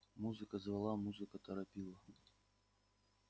музыка звала музыка торопила